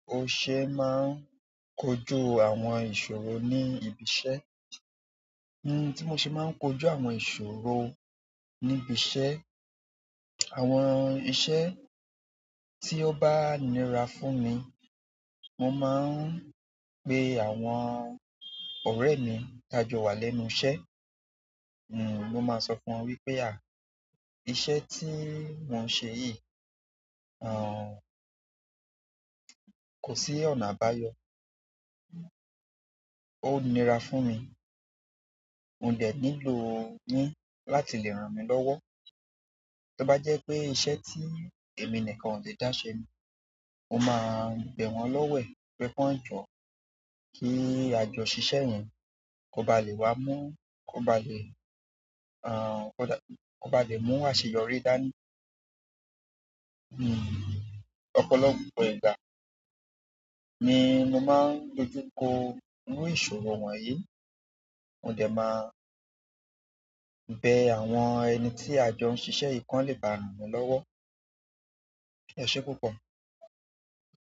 O ṣe máa ń kojú àwọn ìṣòro ní ibi iṣẹ́? N-- tí mo ṣe máa ń kojú àwọn ìṣòro níbi iṣẹ́. Àwọn iṣẹ́ tí ó bá nira fún mi, mo máa ń pe àwọn ọ̀rẹ́ mi tájọ wá lẹ́nu iṣẹ́. N-- mo máa sọ fún wọn wípé "à, iṣẹ́ tí mo ṣe yìí, àn, kò sí ọ̀nà àbáyọ. Ó nira fún mi. Mo dẹ̀ nílò yín láti lè ràn mí lọ́wọ́". To bá jẹ pé iṣẹ́ ti èmi nìkan o lé daṣè ní mo máa bẹ wọn lọwẹ̀ kàn jọ ki ajọ ṣiṣẹ yẹnbko bá lè wà mú àṣeyọrí dání hmm. Ọ̀pọ̀lọpọ̀ ìgbà ni mo máa ń dojú kọ irú ìṣòro wọ̀nyí. Mo dẹ̀ máa bẹ àwọn ẹni tí àjọ ń ṣiṣẹ́ i kán lè bá ràn mí lọ́wọ́. Ẹ ṣé púpọ̀.